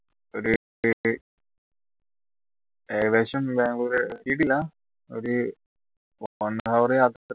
ഏകദേശം ബാംഗ്ലൂര് എത്തിട്ടില്ല ഒരു one hour യാത്ര